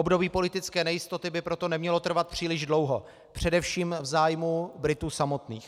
Období politické nejistoty by proto nemělo trvat příliš dlouho především v zájmu Britů samotných.